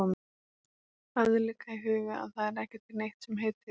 Hafið líka í huga að það er ekki til neitt sem heitir